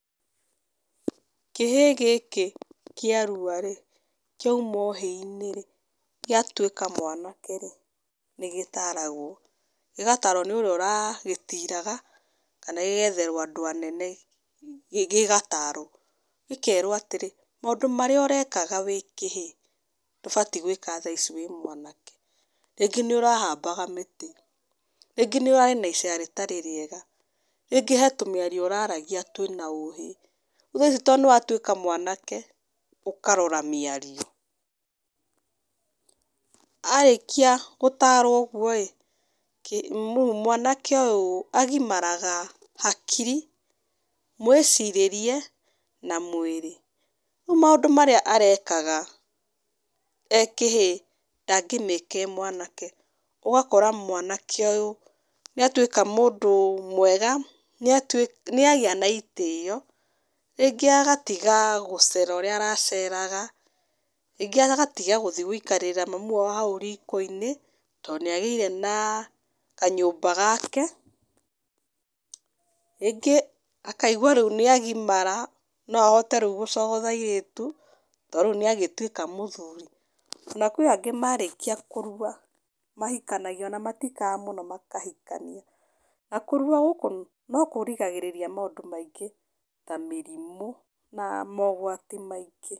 Kĩhĩ gĩkĩ kĩaruarĩ, kĩaima ũhĩinĩrĩ, gĩatũĩka mwanakerĩ nĩ gĩtaragwo, gĩgatarwo nĩ ũrĩa ũragĩtiraga, kana gĩgetherwo andũ anene, gĩgatarwo, gĩkerwo atĩrĩ, mandũ marĩa ũrekaga wĩkĩhĩ, ndũbatiĩ gwĩka thaa ici wĩ mwanake, rĩngĩ nĩ ũrahabaga mĩtĩ, rĩngĩ nĩ ũrarĩ na icera rĩtarĩ rĩega, rĩngĩ hena tũmĩario ũraragia twĩna ũhĩ, rĩu thaa ici to nĩ watwĩka mwanake, ũkarora mĩario, arĩkia gũtarwo ũguoĩ, kĩ, mwanake ũyũ agimaraga, hakiri, mwĩcirĩrie, na mwĩrĩ, rĩu maũndũ marĩa arekaga ekĩhĩ, ndangĩmĩka e mwanake, ũgakora mwanake ũyũ, nĩ atwĩka mũndũ mwega, nĩ atwĩ, nĩ agĩa na itĩyo, rĩngĩ agatiga gũcera ũrĩa araceraga, rĩngĩ agatiga gũthiĩ gũikarĩrĩra mami wao hau riko-inĩ, to nĩagĩire na kanyũmba gake, rĩngĩ akaigwa rĩu nĩ agimara, no ahote rĩu gũcogotha airĩtu, to rĩu nĩ agĩtuĩka mũthuri, na kwĩangĩ marĩkia kũrua mahikanagia, ona matikaraga mũno makahikania , na kũrua gũkũ no kũrigagĩrĩria maũndũ maingĩ, ta mĩrimũ na mogwati maingĩ.